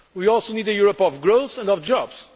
We also need a Europe of growth and of